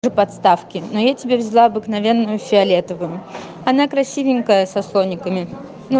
подставки но я тебе взяла обыкновенную фиолетовую она красивенькая со слониками ну